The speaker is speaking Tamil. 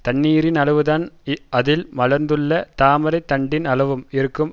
தண்ணீரின் அளவுதான் அதில் மலர்ந்துள்ள தாமரைத் தண்டின் அளவும் இருக்கும்